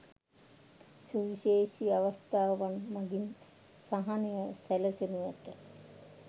සුවිශේෂී අවස්ථාවන් මගින් සහනය සැලසෙනු ඇත.